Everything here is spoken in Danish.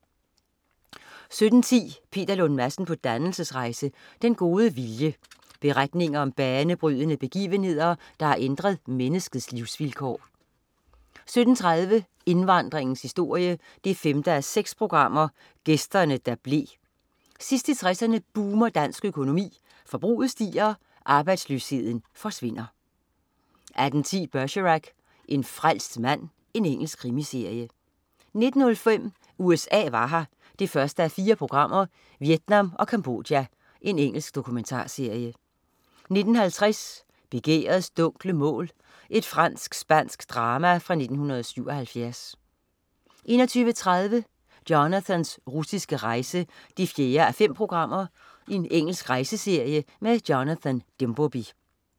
17.10 Peter Lund Madsen på dannelsesrejse. Den gode vilje. Beretninger om banebrydende begivenheder, der har ændret menneskets livsvilkår 17.30 Indvandringens historie 5:6. Gæsterne, der blev. Sidst i 60'erne boomer dansk økonomi, forbruget stiger, arbejdsløsheden forsvinder 18.10 Bergerac: En frelst mand. Engelsk krimiserie 19.05 USA var her 1:4. Vietnam og Cambodja. Engelsk dokumentarserie 19.50 Begærets dunkle mål. Fransk-spansk drama fra 1977 21.30 Jonathans russiske rejse 4:5. Engelsk rejseserie. Jonathan Dimbleby